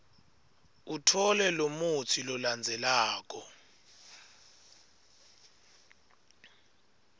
utfole lomutsi lolandzelako